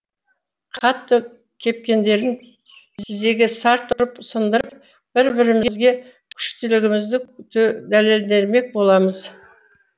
қатты кепкендерін тізеге сарт ұрып сындырып бір бірімізге күштілігімізді дәлелдемек боламыз